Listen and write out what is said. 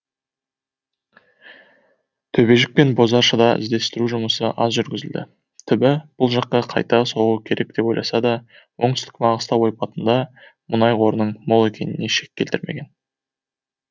төбежік пен бозашыда іздестіру жұмысы аз жүргізілді түбі бұл жаққа қайта соғу керек деп ойласа да оңтүстік маңғыстау ойпатында мұнай қорының мол екеніне шек келтірмеген